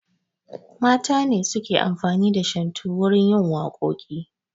Mata ne suke amfani da shantu wurin yin waƙoƙi